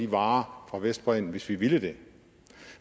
varer fra vestbredden hvis vi ville det